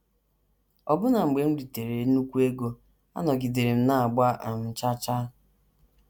Ọbụna mgbe m ritere nnukwu ego, anọgidere m na - agba um chaa chaa.